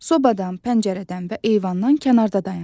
Sobadan, pəncərədən və eyvandan kənarda dayan.